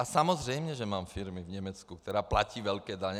A samozřejmě, že mám firmy v Německu, které platí velké daně.